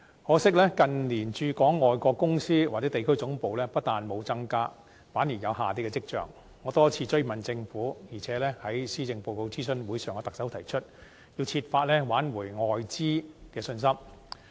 可惜，近年駐港外國公司或地區總部不但沒有增加，反而有下跌的跡象，我多次追問政府，並且在施政報告諮詢會上向特首提出，要設法挽回外資的信心。